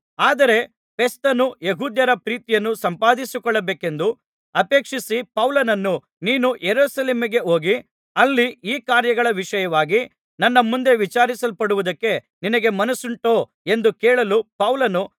ಆದರೆ ಫೆಸ್ತನು ಯೆಹೂದ್ಯರ ಪ್ರೀತಿಯನ್ನು ಸಂಪಾದಿಸಿಕೊಳ್ಳಬೇಕೆಂದು ಅಪೇಕ್ಷಿಸಿ ಪೌಲನನ್ನು ನೀನು ಯೆರೂಸಲೇಮಿಗೆ ಹೋಗಿ ಅಲ್ಲಿ ಈ ಕಾರ್ಯಗಳ ವಿಷಯವಾಗಿ ನನ್ನ ಮುಂದೆ ವಿಚಾರಿಸಲ್ಪಡುವುದಕ್ಕೆ ನಿನಗೆ ಮನಸ್ಸುಂಟೋ ಎಂದು ಕೇಳಲು ಪೌಲನು